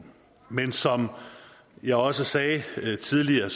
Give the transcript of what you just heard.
men som jeg også sagde tidligere